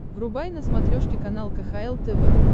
врубай на смотрешке канал кхл тв